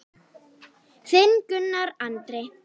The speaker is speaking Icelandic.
Þinn Gunnar Andri.